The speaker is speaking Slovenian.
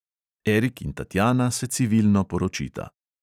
Erik in tatjana se civilno poročita.